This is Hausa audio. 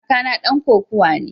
Kakana dan kokawa ne.